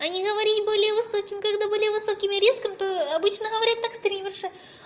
они говорили были высоким когда были высокими рисками то обычно говорят так стримерша